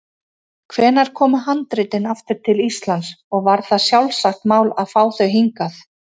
Hvenær komu handritin aftur til Íslands og var það sjálfsagt mál að fá þau hingað?